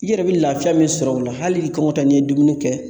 I yɛrɛ bi lafiya min sɔrɔ o la hali i kɔngɔ tɔ n'i ye dumuni kɛ